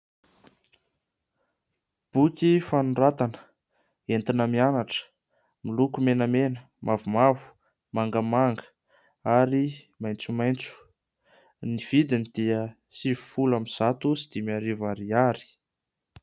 Boky fanoratana etina mianatra. Miloko menamena, mavomavo, mangamanga ary maintsomaintso. Ny vidiny dia sivifolo amin'ny zato sy dimy arivo ariary.